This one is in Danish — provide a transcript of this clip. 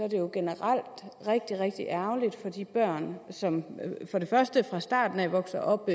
i øvrigt generelt rigtig rigtig ærgerligt for de børn som for det første fra starten af vokser op